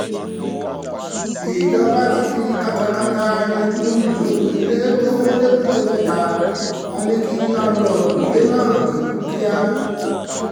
ìjọba ti fi katakata yanjú ìyókù ilé tó wọ lẹ́bùté-metta wọn ní kí láńlọ́ọ̀dù ilé náà yọjú kíá